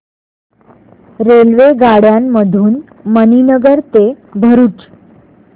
रेल्वेगाड्यां मधून मणीनगर ते भरुच